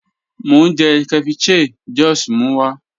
Mo n jẹ̀ ceviche Josh mú wa.